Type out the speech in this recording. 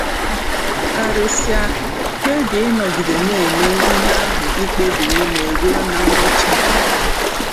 Karịsịa, kpebie ịnọgide na-eme ihe ahụ i kpebiri ime ruo na ngwụcha.